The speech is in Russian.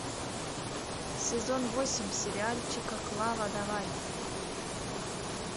сезон восемь сериальчика клава давай